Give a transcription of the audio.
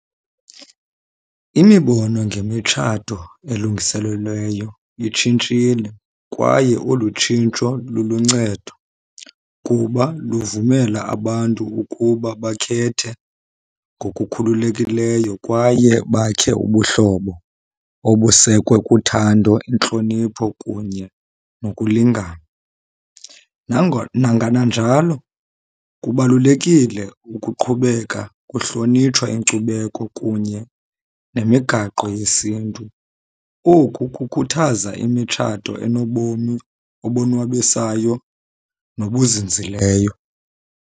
Imibono ngemitshato elungiselelweyo itshintshile kwaye olu tshintsho luluncedo kuba luvumela abantu ukuba bakhethe ngokukhululekileyo, kwaye bakhe ubuhlobo obusekwe kuthando, intlonipho, kunye nokulingana. Nangananjalo kubalulekile ukuqhubeka kuhlonitshwa inkcubeko kunye nemigaqo yesiNtu. Oku kukhuthaza imitshato enobomi obonwabisayo nobuzinzileyo.